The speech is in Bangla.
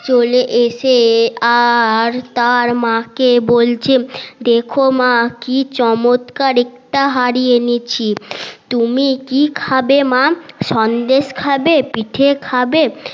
চলে এসে আর তার মাআ কে বলছে দেখো মা কি চমৎকার একটা হাড়ি এনেছি তুমি কি খাবে মা সন্দেশ খাবে পিঠে খাবে